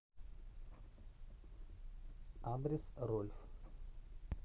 адрес рольф